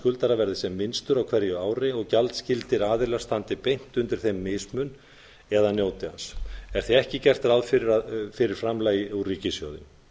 skuldara verði sem minnstur á hverju ári og gjaldskyldir aðilar standi beint undir þeim mismun eða njóti hans er því ekki gert ráð fyrir framlagi úr ríkissjóði